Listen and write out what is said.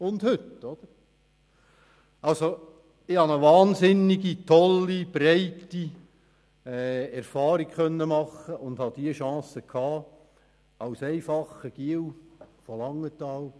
Ich konnte eine wahnsinnig tolle, breite Erfahrung machen und hatte diese Chance als einfacher «Giel» von Langenthal.